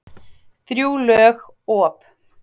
Þrjú lög, op.